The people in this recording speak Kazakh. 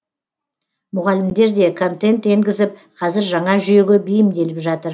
мұғалімдер де контент енгізіп қазір жаңа жүйеге бейімделіп жатыр